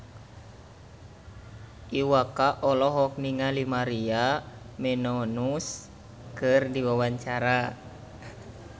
Iwa K olohok ningali Maria Menounos keur diwawancara